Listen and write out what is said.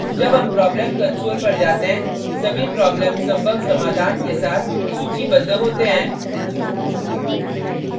जब हम problems console पर जाते हैं सभी problems संभव समाधान के साथ सूचीबद्ध होते हैं